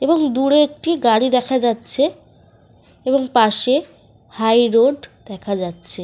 এবং দূরে একটি গাড়ি দেখা যাচ্ছে। এবং পাশে হাই রোড দেখা যাচ্ছে।